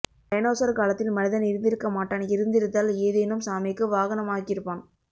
dinosaur காலத்தில் மனிதன் இருந்திருக்க மாட்டான் இருந்திருந்தால் ஏதேனும் சாமிக்கு வாகனமாக்கியிருப்பான்